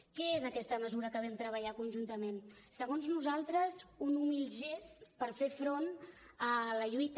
què és aquesta mesura que vam treballar conjuntament segons nosaltres un humil gest per fer front a la lluita